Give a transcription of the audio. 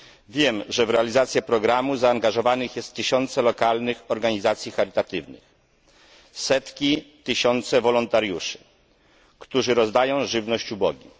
Wiem, że w realizację programu zaangażowanych jest tysiące lokalnych organizacji charytatywnych, setki, tysiące wolontariuszy, którzy rozdają żywność ubogim.